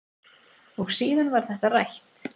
Og síðan var þetta rætt.